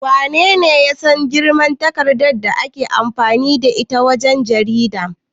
Wanene ya san girman takardar da ake amfani da ita wajen jarida?